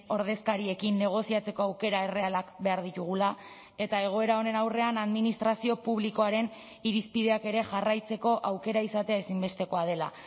ordezkariekin negoziatzeko aukera errealak behar ditugula eta egoera honen aurrean administrazio publikoaren irizpideak ere jarraitzeko aukera izatea ezinbestekoa dela